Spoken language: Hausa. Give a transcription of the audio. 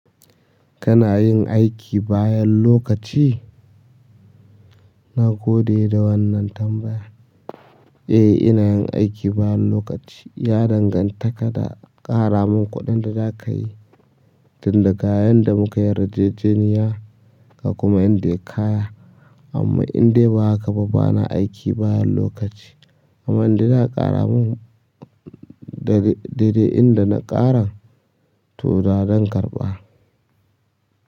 Kana yin aiki bayan lokaci? Na gode da wannan tambaya. Eh, ina yin aiki bayan lokaci. Ya danganta kada ƙara min kuɗin da za ka yi, tun da kayan da muka yi yarjejeniya ka kuma inda ya kaya. Amman indai ba haka ba, bana aiki bayan lokaci amma inda za a ƙara min daidai inda na ƙara, to da zan karɓa.